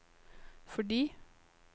fordi